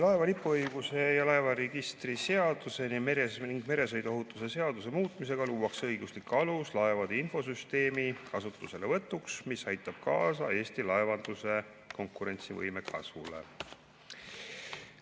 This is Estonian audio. Laeva lipuõiguse ja laevaregistrite seaduse ning meresõiduohutuse seaduse muutmisega luuakse õiguslik alus laevade infosüsteemi kasutuselevõtuks, mis aitab kaasa Eesti laevanduse konkurentsivõime kasvule.